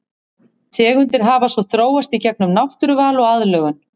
Tegundir hafa svo þróast í gegnum náttúruval og aðlögun.